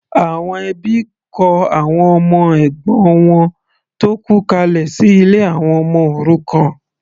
Àwọn ẹbí kọ àwọn ọmọ ẹ̀gbọ́n wọn tó kú kalẹ̀ sí ilé àwọn ọmọ òrukàn.